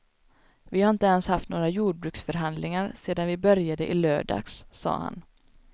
Vi har inte ens haft några jordbruksförhandlingar sedan vi började i lördags, sade han.